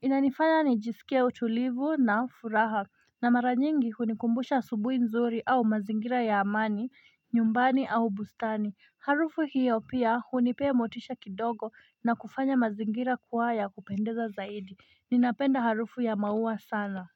Inanifanya nijisikie utulivu na furaha na maranyingi hunikumbusha asubui nzuri au mazingira ya amani, nyumbani au bustani Harufu hiyo pia hunipe motisha kidogo na kufanya mazingira kuwaya kupendeza zaidi Ninapenda harufu ya mauwa sana.